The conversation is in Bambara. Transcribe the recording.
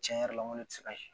Tiɲɛ yɛrɛ la n ko ne tɛ se ka